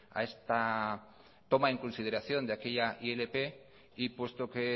a esta toma en consideración de aquella ilp y puesto que